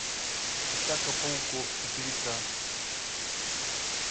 атака пауков четыре ка